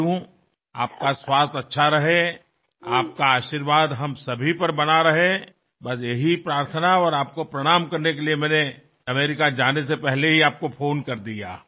तुमची प्रकृती चांगली राहावी तुमचा आशीर्वाद कायम आमच्यासोबत राहावा हीच प्रार्थना आणि तुम्हाला प्रणाम करण्यासाठी मी अमेरिकेला रवाना होण्यापूर्वीच फोन केला